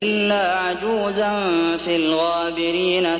إِلَّا عَجُوزًا فِي الْغَابِرِينَ